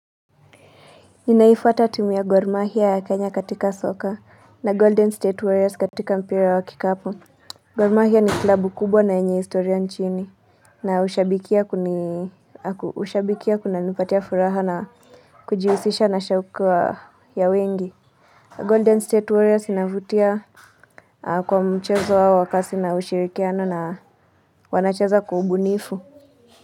Ninaifata timu ya Gor mahia ya Kenya katika soka na Golden State Warriors katika mpira wa kikapu Gor mahia ni klabu kubwa na yenye historia nchini na ushabikia kunanipatia furaha na kujihusisha na shaukwa ya wengi Golden State Warriors inavutia kwa mchezo wao wa kasi na ushirikiano na wanacheza kwa ubunifu.